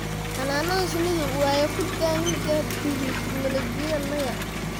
Xannanada shinnidu waya ku thanga tahi tignoolajidya nya.